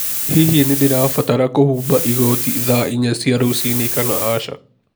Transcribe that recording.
Hihi nĩ ndĩrabatara kũhumba igoti thaa inya cia rũcinĩ kana aca?